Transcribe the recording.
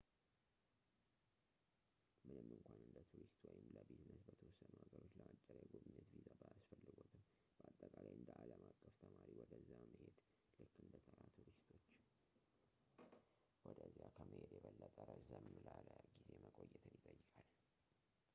ምንም እንኳን እንደ ቱሪስት ወይም ለቢዝነስ በተወሰኑ ሀገሮች ለአጭር የጉብኝት ቪዛ ባያስፈልግዎትም ፣ በአጠቃላይ እንደ ዓለም አቀፍ ተማሪ ወደዚያ መሄድ፣ ልክ እንደ ተራ ቱሪስቶች ወደዚያ ከመሄድ የበለጠ ረዘም ላለ ጊዜ መቆየትን ይጠይቃል